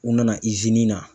U nana i na